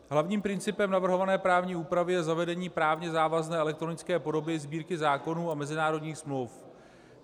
Hlavním principem navrhované právní úpravy je zavedení právně závazné elektronické podoby Sbírky zákonů a mezinárodních smluv.